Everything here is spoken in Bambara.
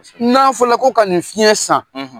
N'a fɔ la ko ka nin fiɲɛ san.